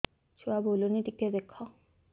ଛୁଆ ବୁଲୁନି ଟିକେ ଦେଖ